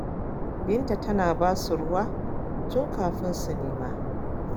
Binta tana ba su ruwa tun kafin ma su nema.